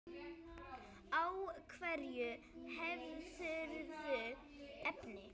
Á hverju hefurðu efni?